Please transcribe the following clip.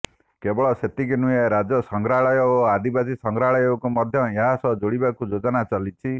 କେବଳ ସେତିକି ନୁହେଁ ରାଜ୍ୟ ସଂଗ୍ରହାଳୟ ଓ ଆଦିବାସୀ ସଂଗ୍ରହାଳୟକୁ ମଧ୍ୟ ଏହାସହ ଯୋଡ଼ାଯିବାକୁ ଯୋଜନା ଚାଲିଛି